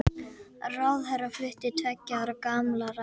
Ráðherra flutti tveggja ára gamla ræðu